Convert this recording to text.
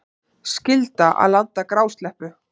Skylda að landa grásleppu